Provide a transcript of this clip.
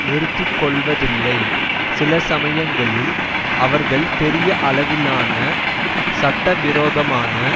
நிறுத்தி கொள்வதில்லை சிலசமயங்களில் அவர்கள் பெரிய அளவிலான சட்ட விரோதமான